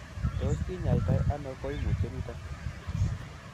Tos kinyaita ono koimutioniton?